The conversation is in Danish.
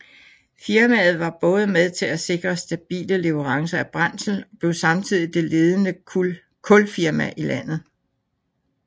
Firmaet var både med til at sikre stabile leverancer af brændsel og blev samtidig det ledende kulfirma i landet